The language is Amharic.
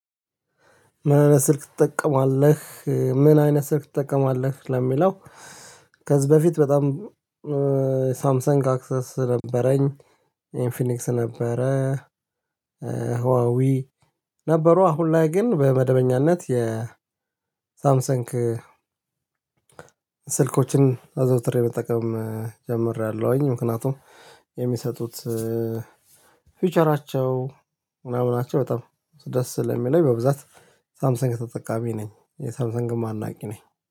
ምን አይነት ስልክ ትጠቀማለህ ምን አይነት ስልክ ትጠቀማለህ? ለሚለው ከዚህ በፊት በጣም ሳምሰንግ አክሰስ ነበረኝ። ኢንፊኒክስ ነበረ። ነበሩ አሁን ላይ ግን በመደበኛነት የ ሳምሰንግ ስልኮችን አዘውትሬ መጠቀም ጀምሬያለሁኝ። ምክንያቱም የሚሰጡት ፊውቸራቸው ምናምን ናቸው በጣም ደስ ስለሚለኝ በብዛት ሳምሰንግ ተጠቃሚ ነኝ። የሳምሰግም አድናቂ ነኝ